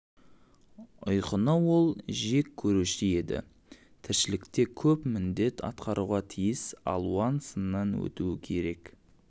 ұйқыны ол жек көруші еді тіршілікте көп міндет атқаруға тиіс алуан сыннан өтуі кере